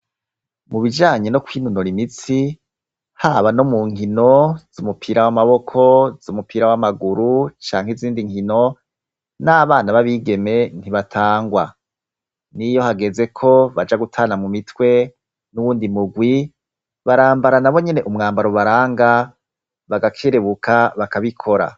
Mu bijanye no kwinonora imitsi, haba no mu nkino z'umupira w'amaboko, z'umupira w'amaguru canke izindi nkino, n'abana b'abigeme ntibatangwa. N'iyo hageze ko baja gutana mu mitwe n'uwundi murwi barambara na bonyene umwambaro ubaranga bagakerebuka bakabikora.